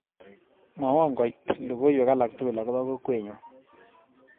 Mwawon koit logoywek alak tugul agoba kokwenyu